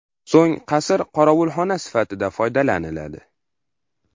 So‘ng qasr qorovulxona sifatida foydalaniladi.